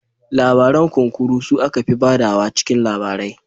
Labaran Kunkuru su aka fi ba da wa cikin labarai